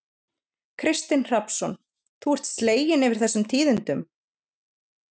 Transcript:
Kristinn Hrafnsson: Þú ert slegin yfir þessum tíðindum?